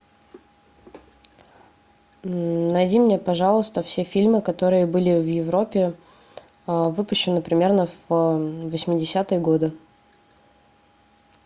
найди мне пожалуйста все фильмы которые были в европе выпущены примерно в восьмидесятые годы